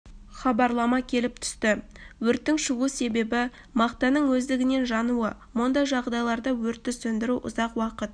хабарлама келіп түсті өрттің шығу себебі мақтаның өздігінен жануы мұндай жағдайларда өртті сөндіру ұзақ уақыт